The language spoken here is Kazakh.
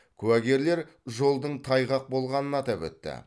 куәгерлер жолдың тайғақ болғанын атап өтті